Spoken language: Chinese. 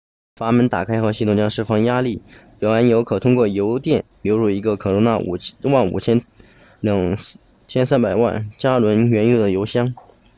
阀门打开后系统将释放压力原油可通过油垫流入一个可容纳55000桶230万加仑原油的油箱